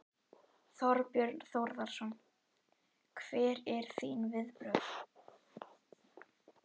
Þorbjörn Þórðarson: Hver eru þín viðbrögð?